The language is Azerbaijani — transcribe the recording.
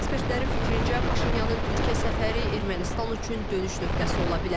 Ekspertlərin fikrincə, Paşinyanın Türkiyə səfəri Ermənistan üçün dönüş nöqtəsi ola bilər.